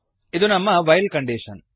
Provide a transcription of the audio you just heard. ಇದು ನಮ್ಮ while condition